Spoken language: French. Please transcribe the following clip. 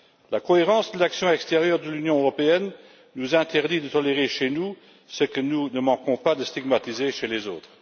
La cohérence de l'action extérieure de l'Union européenne nous interdit de tolérer chez nous ce que nous ne manquons pas de stigmatiser chez les autres.